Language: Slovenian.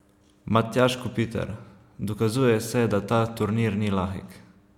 Matjaž Kopitar: "Dokazuje se, da ta turnir ni lahek.